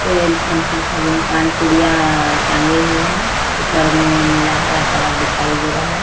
तेल शैंपू साबुन पान पुड़िया टंगा हुआ है। ऊपर में नीला हरा कलर दिखाई दे रहा है।